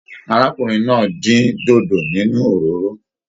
Arákùnrin náà din dodo nínú òróró.